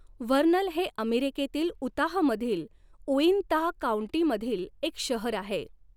Vernal हे अमेरिकेतील उताहमधील उइंताह काउंटीमधील एक शहर आहे.